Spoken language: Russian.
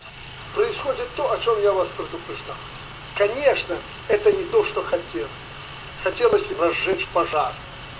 происходит то о чём я вас предупреждал конечно это не то что хотелось хотелось разжечь пожар